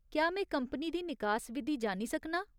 क्या में कंपनी दी निकास विधी जानी सकनां ?